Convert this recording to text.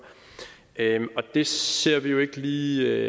det ser vi jo ikke lige